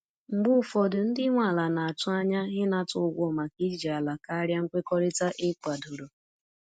Mgbe ụfọdụ, ndị nwe ala na-atụ anya ịnata ụgwọ maka iji ala karịa nkwekọrịta e kwadoro.